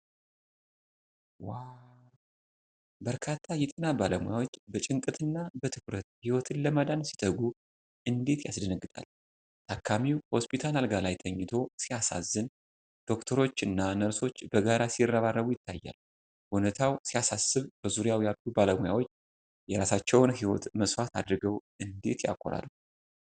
ዋ! በርካታ የጤና ባለሙያዎች በጭንቀትና በትኩረት ህይወትን ለማዳን ሲተጉ እንዴት ያስደነግጣል! ታካሚው ሆስፒታል አልጋ ላይ ተኝቶ ሲያሳዝን ዶክተሮች እና ነርሶች በጋራ ሲረባረቡ ይታያል። ሁኔታው ሲያሳስብ በዙሪያው ያሉ ባለሙያዎች የራሳቸውን ህይወት መስዋዕት አድርገው እንዴት ያኮራል!